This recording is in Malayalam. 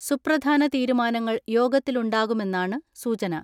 സുപ്രധാന തീരുമാനങ്ങൾ യോഗ ത്തിലുണ്ടാകുമെന്നാണ് സൂചന.